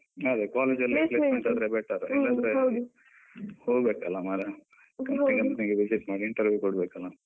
ಅದೆ college ಅಲ್ಲಿ better ಹೋಗ್ಬೇಕಲ್ಲ ಮಾರೆ. company company ಗೆ visit ಮಾಡಿ interview ಕೊಡ್ಬೇಕಲ್ಲ.